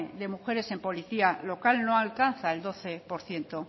de mujeres en policía local no alcanza el doce por ciento